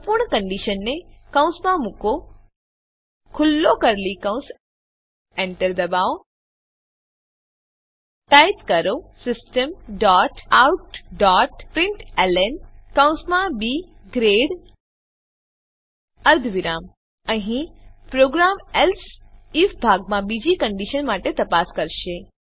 સંપૂર્ણ કંડીશનને કૌંસમાં મુકો ખુલ્લો કર્લી કૌંસ એન્ટર દબાવો ટાઈપ કરો સિસ્ટમ ડોટ પ્રિન્ટલન કૌંસમાં બી ગ્રેડ અર્ધવિરામ અહીં પ્રોગ્રામ એલ્સે આઇએફ ભાગમાં બીજી કંડીશન માટે તપાસ કરશે